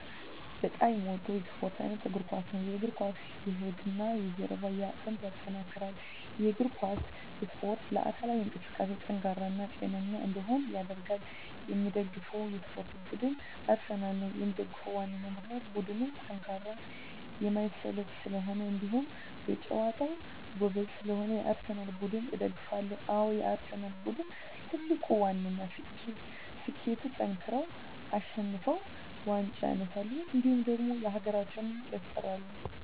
በጣም የምወደው የስፓርት አይነት የእግር ኳስ። የእግር ኳስ የሆድና የጀርባ አጥንትን ያጠነክራል። የእግር ኳስ እስፖርት ለአካላዊ እንቅስቃሴ ጠንካራ እና ጤነኛ እንድንሆን ያደርጋል። የምደግፈው የስፓርት ቡድን አርሰናል ነው። የምደግፍበት ዋነኛ ምክንያት ቡድኑ ጠንካራና የማይሰለች ስለሆኑ እንዲሁም በጨዋታቸው ጎበዝ ስለሆኑ የአርሰናል ቡድንን እደግፋለሁ። አዎ የአርሰናል ቡድን ትልቁና ዋነኛ ስኬቱጠንክረው አሸንፈው ዋንጫ ያነሳሉ እንዲሁም ደግሞ ሀገራችንም ያስጠራሉ።